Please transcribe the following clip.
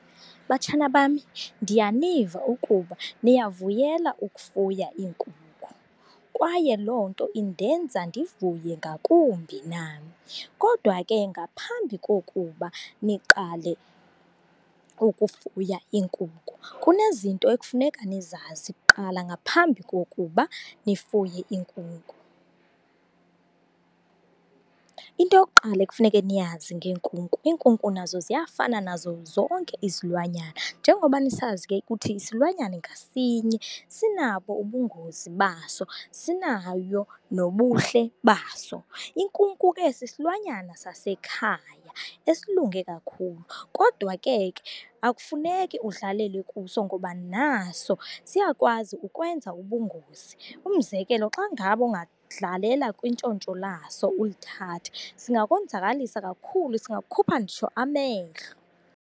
Batshana bami, ndiyaniva ukuba niyavuyela ukufuya iinkukhu, kwaye loo nto indenza ndivuye ngakumbi nam. Kodwa ke ngaphambi kokuba niqale ukufuya iinkukhu, kunezinto ekufuneka nizazi kuqala ngaphambi kokuba nifuye iinkukhu. Into yokuqala ekufuneka niyazi ngeenkukhu, iinkukhu nazo ziyafana nazo zonke izilwanyana. Njengoba nisazi ke ukuthi isilwanyana ngasinye sinabo ubungozi baso, sinayo nobuhle baso. Inkukhu ke sisilwanyana sasekhaya esilunge kakhulu, kodwa ke ke akufuneki udlalele kuso ngoba naso siyakwazi ukwenza ubungozi. Umzekelo, xa ngabe ungadlalela kwintshontsho laso ulithathe, singakonzakalisa kakhulu, singakukhupha nditsho amehlo.